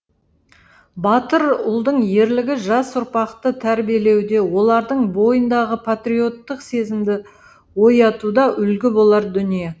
батыр ұлдың ерлігі жас ұрпақты тәрбиелеуде олардың бойындағы патриоттық сезімді оятуда үлгі болар дүние